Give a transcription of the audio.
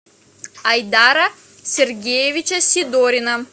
айдара сергеевича сидорина